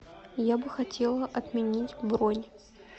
я бы хотела отменить бронь